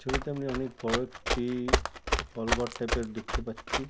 ছবিতে আমি অনকে বড় একটি-ই হল ঘর টাইপের দেখতে পারছি।